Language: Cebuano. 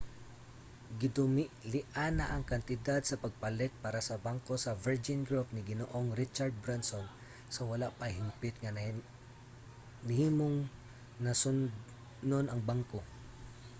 gidumilian na ang kantidad sa pagpalit para sa bangko sa virgin group ni ginoong richard branson sa wala pa hingpit nga nahimong nasudnon ang bangko